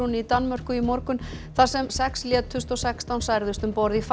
í Danmörku í morgun þar sem sex létust og sextán særðust um borð í